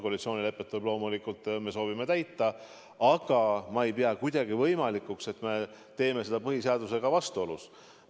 Koalitsioonilepet me loomulikult soovime täita, aga ma ei pea kuidagi võimalikuks, et me teeme seda põhiseadusega vastuolus.